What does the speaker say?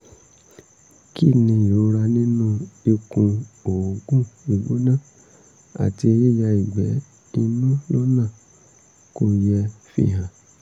kí ni ìrora nínú ikùn òógùn gbígbóná àti yíya ìgbẹ́ inú lọ́nà kò yẹ fihàn?